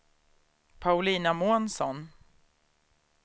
Paulina Månsson